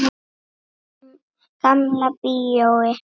Gamla bíói.